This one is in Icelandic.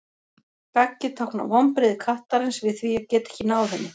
gaggið táknar vonbrigði kattarins við því að geta ekki náð henni